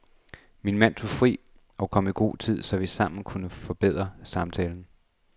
Min mand tog fri og kom i god tid, så vi sammen kunne forberede samtalen.